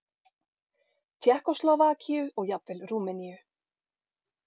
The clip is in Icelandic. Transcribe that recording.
Tékkóslóvakíu og jafnvel Rúmeníu.